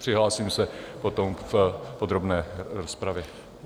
Přihlásím se potom v podrobné rozpravě.